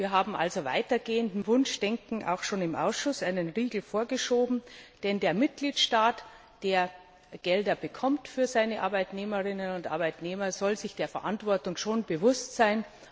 Wir haben also weitergehendem Wunschdenken schon im Ausschuss einen Riegel vorgeschoben, denn der Mitgliedstaat, der Gelder für seine Arbeitnehmerinnen und Arbeitnehmer bekommt, soll sich seiner Verantwortung schon bewusst sein.